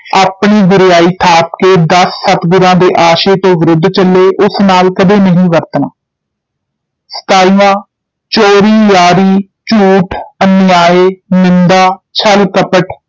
ਆਪਣੀ ਗੁਰਿਆਈ ਥਾਪ ਕੇ ਦਸ ਸਤਿਗੁਰਾਂ ਦੇ ਆਸ਼ੇ ਤੋਂ ਵਿਰੁੱਧ ਚੱਲੇ, ਉਸ ਨਾਲ ਕਦੇ ਨਹੀਂ ਵਰਤਣਾ ਸਤਾਈਵਾਂ ਚੋਰੀ, ਯਾਰੀ, ਝੂਠ, ਅਨਿਯਾਯ, ਨਿੰਦਾ, ਛਲ, ਕਪਟ,